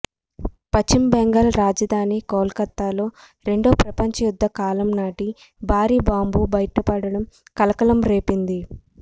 పశ్చిమ బెంగాల్ రాజధాని కోల్కతాలో రెండో ప్రపంచ యుద్ధ కాలం నాటి భారీ బాంబు బయటపడడం కలకలంరేపింది